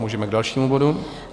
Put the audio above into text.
Můžeme k dalšímu bodu.